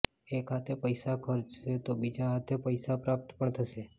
એક હાથે પૈસા ખર્ચશો તો બીજા હાથે પૈસા પ્રાપ્ત પણ થશે